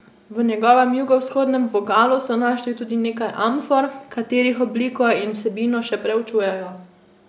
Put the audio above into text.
V njegovem jugovzhodnem vogalu so našli tudi nekaj amfor, katerih obliko in vsebino še proučujejo.